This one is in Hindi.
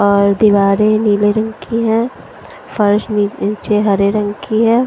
और दीवारें नीले रंग की हैं फर्श में नीचे हरे रंग की है।